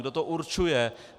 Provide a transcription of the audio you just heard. Kdo to určuje?